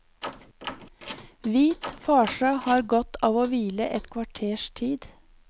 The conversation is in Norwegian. Hvit farse har godt av å hvile et kvarters tid.